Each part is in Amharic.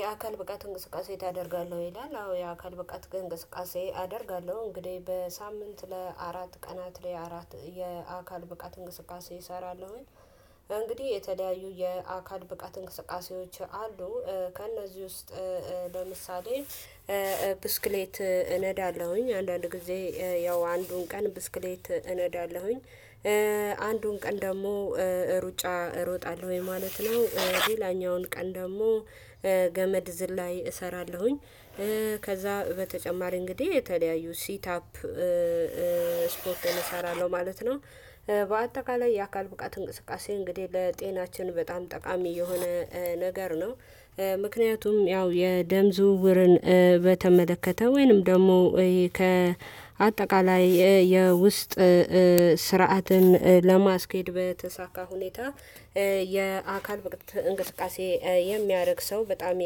የአካል ብቃት እንቅስቃሴ ተደርጋለህ ይላል አዎ የአካል ብቃት ግን እንቅስቃሴ አደርጋለሁ እንግዲህ በሳምንት ለአራት ቀናት ለአራት የአካል ብቃት እንቅስቃሴ እሰራለሁኝ። እንግዲህ የተለያዩ የአካል ብቃት እንቅስቃሴዎች አሉ። ከእነዚህ ውስጥ ለምሳሌ ብስክሌት እነዳለሁኝ አንዳንድ ጊዜ ያው አንዱን ቀን ብስክሌት እነዳለሁኝ። አንዱን ቀን ደግሞ ሩጫ እሮጣለሁኝ ማለት ነው ሌላኛውን ቀን ደግሞ ገመድ ዝላይ እሰራለሁኝ። ከዛ በተጨማሪ እንግዲህ የተለያዩ ሲት አፕ ስፖርት እሰራለሁ ማለት ነው። በአጠቃላይ የአካል ብቃት እንቅስቃሴ እንግዲህ ለጤናችን በጣም ጠቃሚ የሆነ ነገር ነው። ምክንያቱም ያው የደም ዝውውርን በተመለከተ ወይንም ደግሞ ከአጠቃላይ የውስጥ ስርዓትን ለማስኬድ በተሳካ ሁኔታ የአካል እንቅስቃሴ የሚያደርግ ሰው በጣም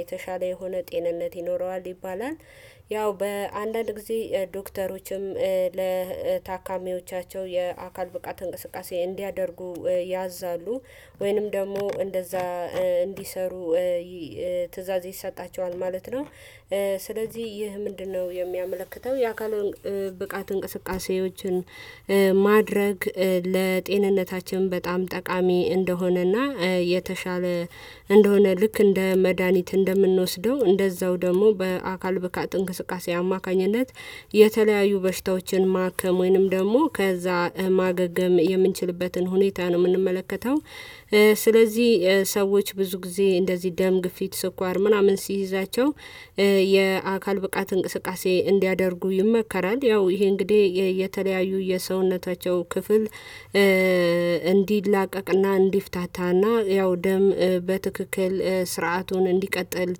የተሻለ የሆነ ጤንነት ይኖረዋል ይባላል። ያው በአንዳንድ ጊዜ ዶክተሮችም ለታካሚዎቻቸው የአካል ብቃት እንቅስቃሴ እንዲያደርጉ ያዛሉ ወይንም ደግሞ እንደዛ እንዲሰሩ ትእዛዝ ይሰጣቸዋል ማለት ነው። ስለዚህ ይህ ምንድነው የሚያመለክተው? የአካል ብቃት እንቅስቃሴዎችን ማድረግ ለጤንነታችን በጣም ጠቃሚ እንደሆነና የተሻለ እንደሆነ ልክ እንደ መድሃኒት እንደምንወስደው እንደዛው ደግሞ በአካል ብቃት እንቅስቃሴ አማካኝነት የተለያዩ በሽታዎችን ማከም ወይንም ደግሞ ከዛ ማገገም የምንችልበትን ሁኔታ ነው የምንመለከተው። ስለዚህ ሰዎች ብዙ ጊዜ እንደዚህ ደም ግፊት ስኳር ምናምን ሲይዛቸው የአካል ብቃት እንቅስቃሴ እንዲያደርጉ ይመከራል። ያው ይሄ እንግዲህ የተለያዩ የሰውነታቸው ክፍል እንዲላቀቅና እንዲፍታታና ያው ደም በትክክል ስርዓቱን እንዲቀጥል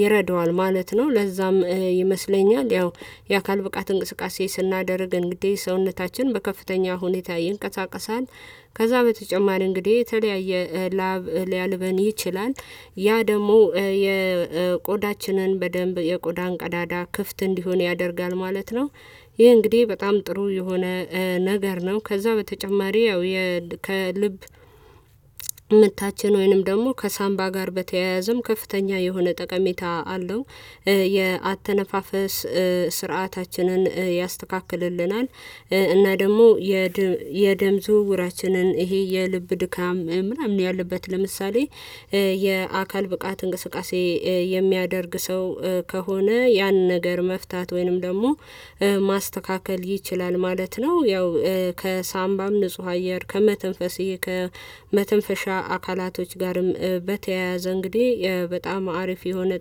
ይረዳዋል ማለት ነው። ለዛም ይመስለኛል ያው የአካል ብቃት እንቅስቃሴ ስናደርገን እንግዲህ ሰውነታችን በከፍተኛ ሁኔታ ይንቀሳቀሳል። ከዛ በተጨማሪ እንግዲህ የተለያየ ላብ ሊያልበን ይችላል ያ ደግሞ የቆዳችንን በደንብ የቆዳ ቀዳዳ ክፍት እንዲሆን ያደርጋል ማለት ነው። ይሄ እንግዲህ በጣም ጥሩ የሆነ ነገር ነው። ከዛ በተጨማሪ ያው ከልብ ምታችን ወይንም ደግሞ ከሳምባ ጋር በተያያዘም ከፍተኛ የሆነ ጠቀሜታ አለው። የአተነፋፈ ስርዓታችንን ያስተካክልልናል። እና ደግሞ የደም ዝውውራችንን ይሄ የልብ ድካም ምናምን ያለበት ለምሳሌ የአካል ብቃት እንቅስቃሴ የሚያደርግ ሰው ከሆነ ያን ነገር መፍታት ወይንም ደግሞ ማስተካከል ይችላል። ማለት ነው። ያው ከሳምባም ንጹህ አየር ከመተንፈሴ ከመተንፈሻ አካላቶች ጋርም በተያያዘ እንግዲህ በጣም አሪፍ የሆነ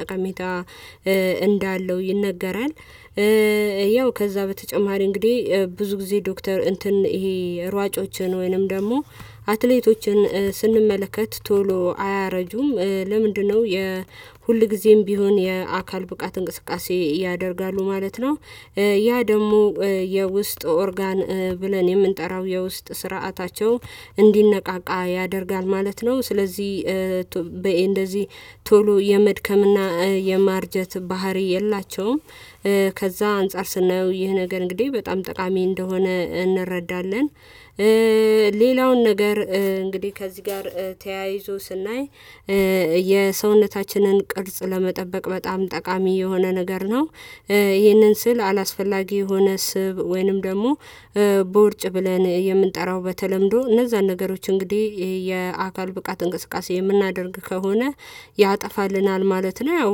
ጠቀሜታ እንዳለው ይነገራል። ያው ከዛ በተጨማሪ እንግዲህ ብዙ ጊዜ ዶክተር እንትን ይሄ ሯጮችን ወይንም ደግሞ አትሌቶችን ስንመለከት ቶሎ አያረጁም ለምንድነው? የሁል ጊዜም ቢሆን የአካል ብቃት እንቅስቃሴ ያደርጋሉ ማለት ነው። ያ ደግሞ የውስጥ ኦርጋን ብለን የምንጠራው የውስጥ ስርዓታቸው እንዲነቃቃ ያደርጋል ማለት ነው። ስለዚህ በኤ እንደዚህ ቶሎ የመድከምና የማርጀት ባህሪ የላቸውም። ከዛ አንፃር ስናየው ይህ ነገር እንግዲህ በጣም ጠቃሚ እንደሆነ እንረዳለን። ሌላውን ነገር እንግዲህ ከዚህ ጋር ተያይዞ ስናይ የሰውነታችንን ቅርጽ ለመጠበቅ በጣም ጠቃሚ የሆነ ነገር ነው። ይህንን ስል አላስፈላጊ የሆነ ስብ ወይንም ደግሞ ቦርጭ ብለን የምንጠራው በተለምዶ እነዛን ነገሮች እንግዲህ የአካል ብቃት እንቅስቃሴ የምናደርግ ከሆነ ያጠፋልናል ማለት ነው። ያው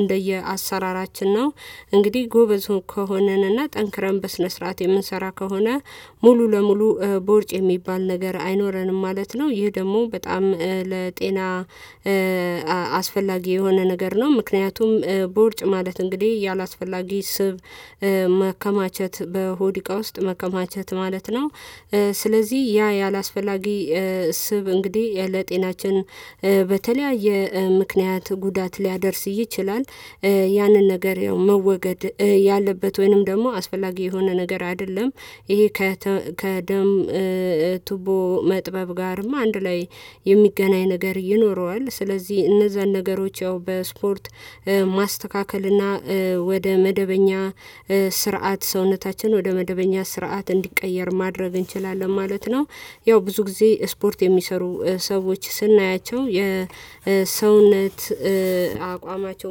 እንደየአሰራራችን ነው። እንግዲህ ጎበዝ ከሆነን እና ጠንክረን በስነ ስርዓት የምንሰራ ከሆነ ሙሉ ለሙሉ ቦርጭ የሚባል ነገር አይኖረንም ማለት ነው። ይህ ደግሞ በጣም ለጤና አስፈላጊ የሆነ ነገር ነው። ምክንያቱም ቦርጭ ማለት እንግዲህ ያላስፈላጊ ስብ መከማቸት በሆዲቃ ውስጥ መከማቸት ማለት ነው። ስለዚህ ያ ያላስፈላጊ ስብ እንግዲህ ለጤናችን በተለያየ ምክንያት ጉዳት ሊያደርስ ይችላል። ያንን ነገር መወገድ ያለበት ወይንም ደግሞ አስፈላጊ የሆነ ነገር አይደለም። ይሄ ከደም ቱቦ መጥበብ ጋርም አንድ ላይ የሚገናኝ ነገር ይኖረዋል። ስለዚህ እነዛን ነገሮች ያው በስፖርት ማስተካከል እና ወደ መደበኛ ስርዓት ሰውነታችን ወደ መደበኛ ስርዓት እንዲቀየር ማድረግ እንችላለን ማለት ነው። ያው ብዙ ጊዜ ስፖርት የሚሰሩ ሰዎች ስናያቸው የሰውነት አቋማቸው